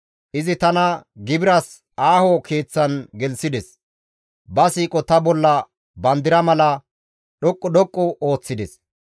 Izi tana gibiras aaho keeththan gelththides; ba siiqo ta bolla bandira mala dhoqqu dhoqqu ooththides.